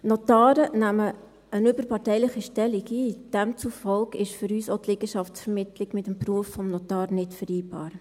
Notare nehmen eine überparteiliche Stellung ein, demzufolge ist für uns auch die Liegenschaftsvermittlung mit dem Beruf des Notars nicht zu vereinbaren.